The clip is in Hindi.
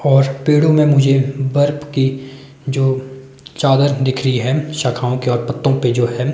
और पेड़ों में मुझे बर्फ की जो चादर दिख रही है शाखाओं के और पत्तों पे जो है।